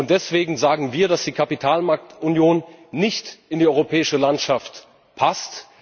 Deswegen sagen wir, dass die Kapitalmarktunion nicht in die europäische Landschaft passt.